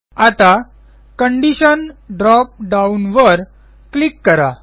आता condition drop down वर click करा